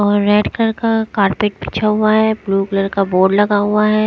और red colour का carpet बिछा हुआ है ब्लू कलर का बोर्ड लगा हुआ है।